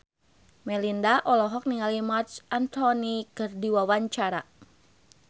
Melinda olohok ningali Marc Anthony keur diwawancara